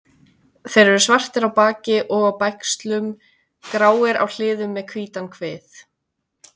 Þeir eru svartir á baki og á bægslum, gráir á hliðum með hvítan kvið.